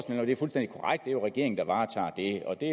det jo er regeringen der varetager det og det